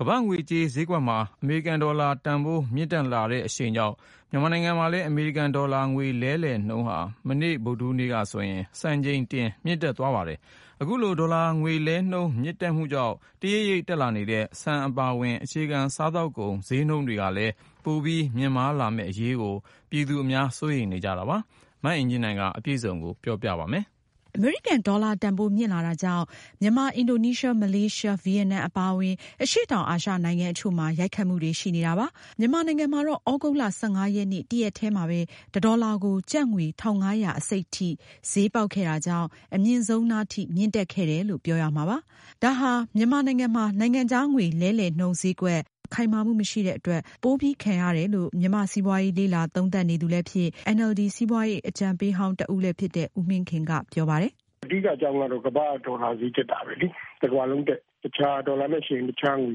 ကမ္ဘာ့ငွေကြေးဈေးကွက်မှာ အမေရိကန်ဒေါ်လာ တန်ဖိုးမြင့်တက်လာတဲ့အရှိန်ကြောင့် မြန်မာနိုင်ငံမှာ အမေရိကန်ဒေါ်လာ ငွေလဲလှယ်နှုန်းဟာ မနေ့ ဗုဒ္ဓဟူးနေ့က စံချိန်တင် မြင့်တက်သွားပါတယ်။ အခုလို ဒေါ်လာငွေလဲနှုန်းမြင့်တက်မှုကြောင့် တရိတ်ရိတ်တက်လာနေတဲ့ ဆန်အပါအဝင် အခြေခံစားသောက်ကုန်ဈေးနှုန်းတွေ ပိုပြီးမြင့်တက်လာမယ့် အရေး ပြည်သူအများ စိုးရိမ်နေကြပါတယ်။ စုံစမ်းမေးမြန်းထားတဲ့ မအင်ကြင်းနိုင်က အကြောင်းစုံကို ဆက်လက်တင်ပြမှာပါ။ အမေရိကန် ဒေါ်လာတန်ဖိုးမြင့်လာတာကြောင့် မြန်မာ၊ အင်ဒိုနီးရှား၊ မလေးရှား၊ ဗီယက်နမ်အပါအဝင် အရှေ့တောင်အာရှ နိုင်ငံအချို့မှာ ရိုက်ခတ်မှုတွေရှိနေတာပါ။ မြန်မာနိုင်ငံမှာတော့သြဂုတ်လ ၁၅ ရက်နေ့ တရက်တည်းမှာပဲ တဒေါ်လာကို ကျပ်ငွေ ၁၅၂၅ အထိ ဈေးပေါက်ခဲ့တဲ့ အတွက် အမြင့်ဆုံးနားထိ မြင့်တက်ခဲ့တယ်လို့ ပြောရမှာပါ။ ဒါဟာ နိုင်ငံခြားငွေကြေးလဲလှယ်နှုန်း ဈေးကွက် မြန်မာနိုင်ငံမှာ ခိုင်မာမှုမရှိတဲ့အတွက် ပိုပြီးခံရတယ်လို့ မြန်မာ့စီးပွားရေးလေ့လာသုံးသပ်နေသူလည်းဖြစ်၊ NLD စီးပွားရေး အကြံပေးဟောင်း တဦးလည်းဖြစ်တဲ့ ဦးမင်းခင် ကပြောပါတယ်။ “အဓိကအကြောင်းကတော့ ကမ္ဘာ့ဒေါ်လာဈေးတက်တာပဲလေ။ တကမ္ဘာလုံးတက်။ ဒေါ်လာနဲ့ယှဉ်ရင် အခြားငွေ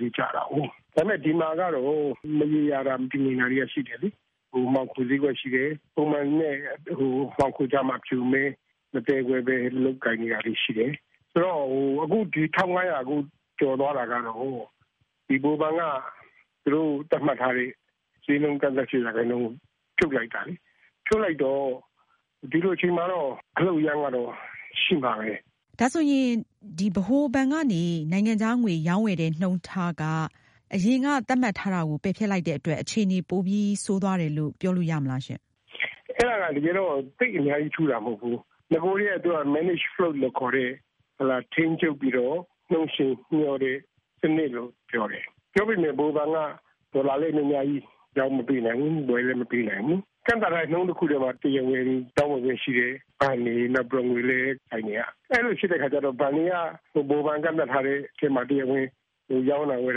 တွေက ကျနေတာကို။ ဒါပေမဲ့ ဒီမှာကတော့ မရေရာတာ၊ မတည်ငြိမ်တာတွေက ရှိနေတယ်လေ။ မှောင်ခိုဈေးကွက်ရှိတယ်။ ပုံမှန်နဲ့ မှောင်ခိုကြားမှာ အဖြူ၊ အမဲ မသဲကွဲပဲလုပ်ကိုင်နေတာတွေ ရှိတယ်။ အခု ၁၅၀၀ ကျော်သွားတာကတော့ ဗဟိုဘဏ်က သူတို့ ဈေးနှုန်း သတ်မှတ်ထားတဲ့ ရာခိုင်နှုန်းကို ဖြုတ်လိုက်တာလေ။ ဖြုတ်လိုက်တော့ ဒီလိုအချိန်မှာ အလှုပ်အရမ်းကတော့ ရှိမှာပဲ။” မေး။ ။ ဒါဆိုရင် ဗဟိုဘဏ်ကနေ နိုင်ငံခြားငွေရောင်းဝယ်တဲ့နှုန်းထား အရင်က သတ်မှတ်ထားတာကို ပယ်ဖျက်လိုက်တဲ့အတွက် အခြေအနေပိုပြီးဆိုးသွားတယ်လို့ ပြောလို့ရမလား။ ဖြေ။ ။ အဲဒါကတော့ သိပ်အများကြီး ထူးတာတော့မဟုတ်ဘူး။ နဂိုကတည်းက manage float လို့ခေါ်တဲ့ ထိန်းချုပ်ပြီးတော့ နှုန်းယှဉ်မျှောတဲ့ စနစ်လို့ပြောတယ်။ ပြောပေမဲ့ ဗဟိုဘဏ်က ဒေါ်လာလဲ များများ ရောင်းမပေးနိုင်ဘူး။ ဝယ်လဲ မပေးနိုင်ဘူး။ ကန့်သတ်ထားတဲ့ နှုန်းတခုထဲမှာ တရားဝင် ရောင်းဝယ်ခွင့်ရှိတယ်။ ပုဂ္ဂလိက ဘဏ်တွေ၊ နောက်ပြီး ငွေလဲ ဆိုင်တွေပေါ့။ အဲဒီလို ဖြစ်တဲ့အခါကျတော့ ဘဏ်တွေက ဗဟိုဘဏ် ကန့်သတ်ထားတဲ့ထဲမှာ တရားဝင် ရောင်းတာ၊ ဝယ်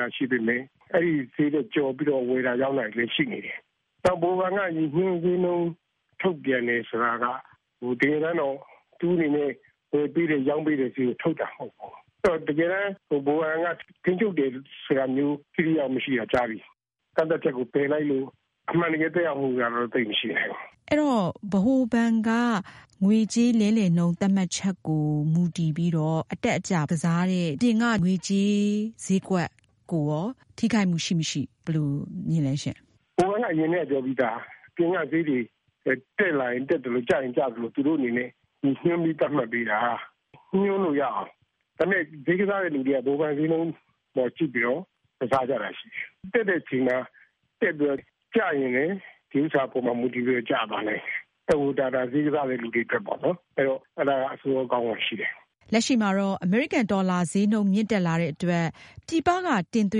တာ ရှိပေမယ့် အဲဒီဈေးထက် ကျော်ပြီး ဝယ်တာ၊ ရောင်းတာတွေလည်း ရှိနေတယ်။ နောက် ဗဟိုဘဏ်က ရည်ညွန်းဈေးနှုန်း ထုတ်ပြန်တယ် ဆိုတာက တကယ်တမ်းတော့ သူ့အနေနဲ့ ဝယ်ပေးတဲ့ ရောင်းပေးတဲ့ ဈေးကို ထုတ်တာ မဟုတ်ဘူး။ တကယ်တမ်း ဗဟိုဘဏ်က ထိန်းချုပ်တယ်ဆိုတာမျိုး ထိထိရောက်ရောက် မရှိတာ ကြာပြီ။ ကန့်သတ်ချက်ကို ပယ်လိုက်လို့ အမှန်တကယ် သက်ရောက်မှုကတော့ သိပ်မရှိနိုင်ဘူး။ မေး။ ။ အဲတော့ ဗဟိုဘဏ်က ငွေကြေးလဲလှယ်နှုန်းသတ်မှတ်ချက်ကို မူတည်ပြီးတော့ အတက်အကျကစားတဲ့ အပြင်က ငွေကြေးဈေးကွက်ကိုရော ထိခိုက်မှုရှိမရှိ ဘယ်လိုမြင်လဲရှင့်။ ဖြေ။ ။ ဗဟိုဘဏ်က အရင်ကတည်းက ပြောပြီးသား။ တက်လာရင် တက်သလို၊ ကျလာရင် ကျသလို သူတို့အနေနဲ့ ရည်ညွန်းပြီး သတ်မှတ်ပေးတာ။ ညွန်းလို့ရအောင်။ ဒါပေမယ့် ဈေးကစားတဲ့သူတွေက ဗဟိုဘဏ်ဈေးနှုန်းအပေါ် ကြည့်ပြီးတော့ ကစားကြတာရှိတယ်။ တက်တဲ့အချိန်မှာ တက်ပြီးတော့ ကျရင်လည်း ဗဟိုဘဏ်သတ်မှတ်ချက်အပေါ် မူတည်ပြီး ကျသွားနိုင်တယ်။ ဒါက ဈေးကစားတဲ့သူတွေအတွက်ပေါ့။ အဲဒါက အဆိုးရော၊ အကောင်းရောရှိတယ်။ လက်ရှိမှာတော့ အမေရိကန်ဒေါ်လာ ဈေးနှုန်း မြင့်တက်လာတဲ့အတွက် ပြည်ပက တင်သွ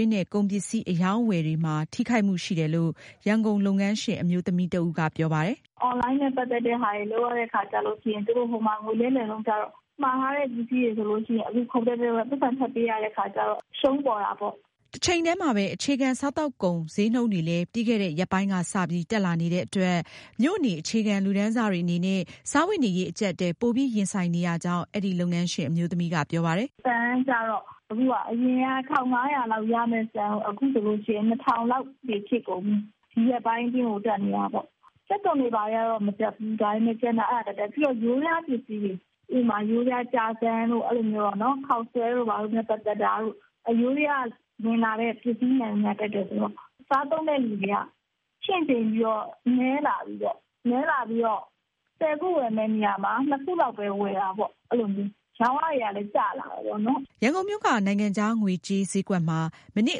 င်းတဲ့ ကုန်ပစ္စည်း အရောင်းအဝယ်တွေမှာ ထိခိုက်မှုတွေရှိတယ်လို့ ရန်ကုန် လုပ်ငန်းရှင် အမျိုးသမီးတဦးက ပြောပါတယ်။ “အွန်လိုင်းက မှာပြီးဝယ်တဲ့ ပစ္စည်းတွေအတွက် သူတို့ ဟိုမှာ ငွေလဲလှယ်နှုန်းကျတော့ မှာထားတဲ့ ပစ္စည်းတွေကျတော့ အခု ဈေးက ခုန်တက်သွားတော့ ပိုက်ဆံပိုပေးရတဲ့အခါကျတော့ အရှုံးပေါ်တာပေါ့။” တချိန်တည်းမှာပဲ အခြေခံစားသောက်ကုန် ဈေးနှုန်းတွေလည်း ပြီးခဲ့တဲ့ ရက်ပိုင်းကစပြီး တက်လာနေတဲ့အတွက် မြို့နေ အခြေခံလူတန်းစာတွေအနေနဲ့ စားဝတ်နေရေး အကျပ်အတည်း ပိုပြီးရင်ဆိုင်နေကြောင်း အဲဒီ လုပ်ငန်းရှင် အမျိုးသမီးက ပြောပါတယ်။ “ဆန်ကကျတော့ အရင်က ၁၅၀၀ကျပ်လောက်နဲ့ ရတာကနေ အခုဆိုရင် ၂၀၀၀ ကျပ်ထိ ဖြစ်နေပြီ။ ဒီရက်ပိုင်းအတွင်း တက်နေတာပေါ့။ ကြက်သွန်ဈေးကတော့ မတက်ဘူး။ ဒါပေမယ့် ယိုးဒယားပစ္စည်းတွေ ဥပမာ- ယိုးဒယားကြာဇံ၊ ခေါက်ဆွဲ၊ ပဲနို့ စတဲ့ ယိုးဒယားက ဝင်လာတဲ့ ပစ္စည်းမှန်သမျှ တက်တယ်ဆိုတော့ စားသုံးတဲ့သူတွေက ချင့်ချိန်ရတော့ အဝယ် နည်းလာပြီပေါ့။ ဆယ်ခု ဝယ်မယ့်နေရာမှာ နှစ်ခုလောက်ပဲ ဝယ်တာပေါ့။ ရောင်းအားတွေကလည်း ကျလာတယ်ပေါ့နော်။” ရန်ကုန်မြို့က နိုင်ငံခြား ငွေကြေးဈေးကွက်မှာ မနေ့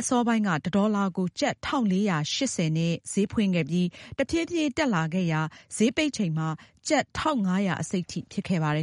အစောပိုင်းက တဒေါ်လာကို ကျပ် ၁၄၈၀ နဲ့ ဈေးဖွင့်ခဲ့ပြီး၊ တဖြည်းဖြည်း တက်လာခဲ့ရာ ဈေးပိတ်ချိန်မှာ ကျပ် ၁၅၂၅ အထိ ဖြစ်ခဲ့ပါတယ်